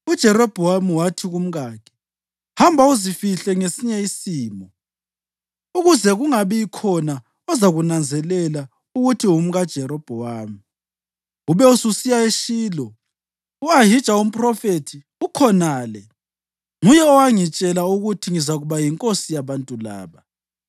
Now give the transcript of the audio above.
uJerobhowamu wathi kumkakhe, “Hamba, uzifihle ngesinye isimo, ukuze kungabikhona ozakunanzelela ukuthi ungumkaJerobhowamu. Ube ususiya eShilo. U-Ahija umphrofethi ukhonale onguye owangitshela ukuthi ngizakuba yinkosi yabantu laba.